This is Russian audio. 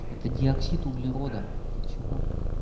это диоксид углерода ты чего